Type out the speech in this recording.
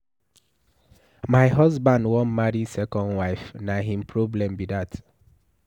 My husband wan marry second wife, na him problem be dat.